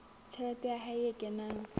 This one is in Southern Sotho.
tjhelete ya hae e kenang